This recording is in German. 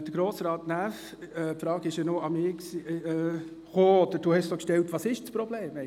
Grossrat Näf hat die Frage, wo das Problem liege, an mich gerichtet.